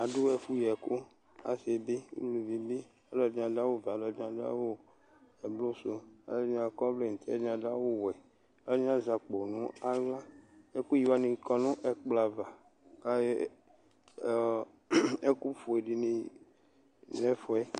Aɖu ɛfu yɛku, asɩ bɩ, uluvɩ bɩ Ɔlɔɖɩ aɖu awu vɛ, ɔlɔɖɩ aɖu awu ɛblʊ su, alu ɛɖɩnɩ akɔ vlɛ nutɩ, alu ɛɖɩnɩ aɖu awu wɛ Alu ɛɖɩnɩ azɛ akpo naɣla Ɛku yɩ wanɩ kɔ nu ɛkplɔ ava Kayɔ ɔ Ɛku foe ɖɩnɩ nɛfuɛ